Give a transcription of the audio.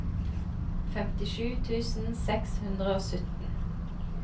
femtisju tusen seks hundre og sytten